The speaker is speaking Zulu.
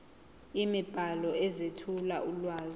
imibhalo ezethula ulwazi